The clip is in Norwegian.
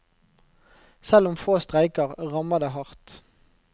Selv om få streiker, rammer det hardt.